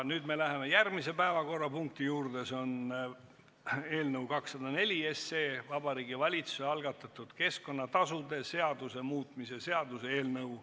Nüüd me läheme järgmise päevakorrapunkti juurde, see on eelnõu 204, Vabariigi Valitsuse algatatud keskkonnatasude seaduse muutmise seaduse eelnõu.